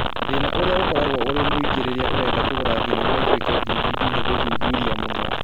Thĩna ũrĩa ũkoragwo ũrĩa mũingĩ rĩrĩa ũrenda kũgarũra thenema ĩtuĩke DVD nĩ gũthuthuria mũno